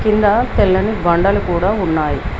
క్రింద తెల్లని బండలు కూడా ఉన్నాయ్.